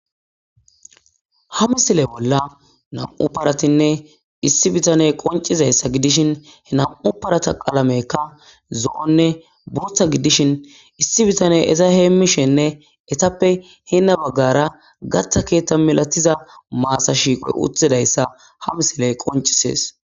Ha misile bolla nam'u paratinne issi bitane qoncizayssa gidishin he nam'u parata qalamekka zo'onne buotha giddishin issi bitane eza heemmishenne etappe hena baggara gatta keethta milatiza maasa shiiqoy uthidayssa ha misiley qoncisees.